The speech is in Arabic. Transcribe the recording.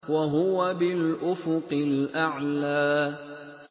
وَهُوَ بِالْأُفُقِ الْأَعْلَىٰ